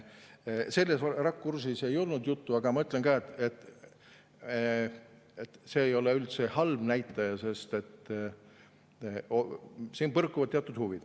Sellest rakursist juttu ei olnud, aga ma ütlen ka, et see ei ole üldse halb näitaja, sest siin põrkuvad teatud huvid.